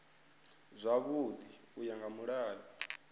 zwavhui u ya nga mulayo